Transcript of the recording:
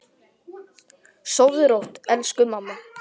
Sofðu rótt, elsku mamma.